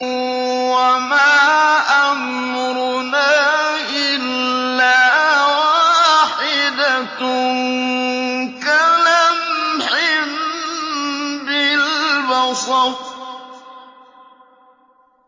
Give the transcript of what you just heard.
وَمَا أَمْرُنَا إِلَّا وَاحِدَةٌ كَلَمْحٍ بِالْبَصَرِ